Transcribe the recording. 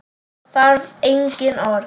Það þarf engin orð.